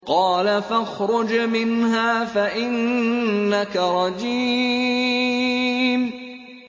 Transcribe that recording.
قَالَ فَاخْرُجْ مِنْهَا فَإِنَّكَ رَجِيمٌ